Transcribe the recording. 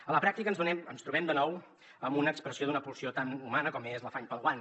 a la pràctica ens trobem de nou amb una expressió d’una pulsió tan humana com és l’afany pel guany